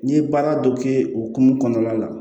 N'i ye baara dɔ kɛ o hukumu kɔnɔna la